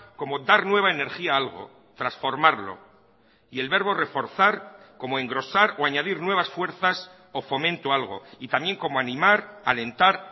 como dar nueva energía a algo transformarlo y el verbo reforzar como engrosar o añadir nuevas fuerzas o fomento a algo y también como animar alentar